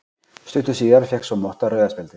Stuttu síðar fékk svo Motta rauða spjaldið.